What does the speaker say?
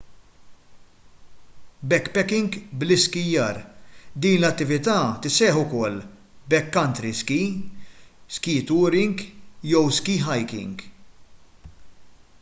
backpacking bl-iskijjar din l-attività tissejjaħ ukoll backcountry ski ski touring jew ski hiking